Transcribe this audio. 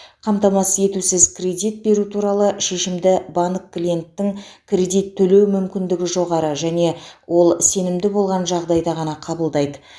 қамтамасыз етусіз кредит беру туралы шешімді банк клиенттің кредит төлеу мүмкіндігі жоғары және ол сенімді болған жағдайда ғана қабылдайды